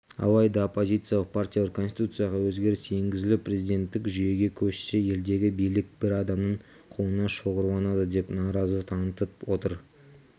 алайда оппозициялық партиялар конституцияға өзгеріс енгізіліп президенттік жүйеге көшсе елдегі билік бір адамның қолына шоғырланады деп наразылық танытып отыр